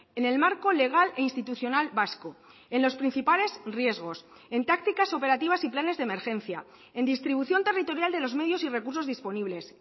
en el marco legal e institucional vasco en los principales riesgos en tácticas operativas y planes de emergencia en distribución territorial de los medios y recursos disponibles